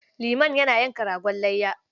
Liman yana yanka ragon layya.